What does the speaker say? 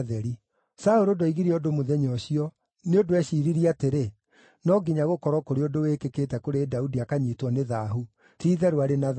Saũlũ ndoigire ũndũ mũthenya ũcio, nĩ ũndũ eeciiririe atĩrĩ, “No nginya gũkorwo kũrĩ ũndũ wĩkĩkĩte kũrĩ Daudi akanyiitwo nĩ thaahu; ti-itherũ arĩ na thaahu.”